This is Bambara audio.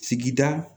Sigida